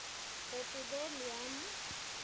Epithelium?